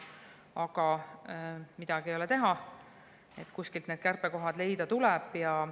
Aga midagi ei ole teha, kuskilt tuleb need kärpekohad leida.